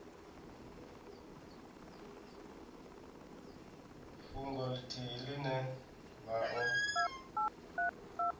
fhungo ithihi ine vha o